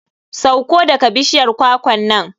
Sauko daga bishiyar kwakwan nan.